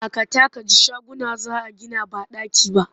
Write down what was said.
Dakata ka ji shaguna za a gina ba ɗaki ba!